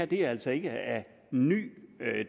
det er altså ikke af ny